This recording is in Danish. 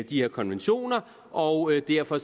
de her konventioner og derfor